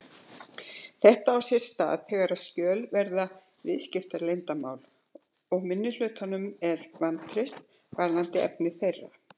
Þetta á sérstaklega við þegar skjöl varða viðskiptaleyndarmál og minnihlutanum er vantreyst varðandi efni þeirra.